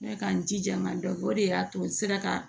N bɛ ka n jija ka dɔ kɛ o de y'a to n sera ka